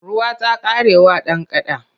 Ruwa ta ƙare wa dan kada.